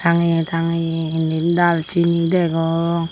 tangeye tangeye indi daal chini degong.